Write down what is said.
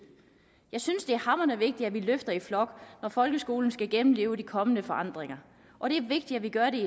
jeg synes det er hamrende vigtigt at vi løfter i flok når folkeskolen skal gennemleve de kommende forandringer og det er vigtigt at vi gør det